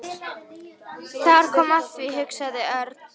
Þar kom að því hugsaði Örn.